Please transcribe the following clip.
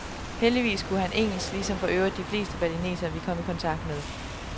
Heldigvis kunne han engelsk, ligesom for øvrigt de fleste balinesere, vi kom i kontakt med.